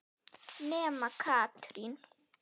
Nema Katrín.